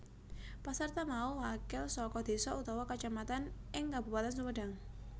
Pasarta mau wakil saka désa utawa kacamatan ing Kabupatèn Sumedang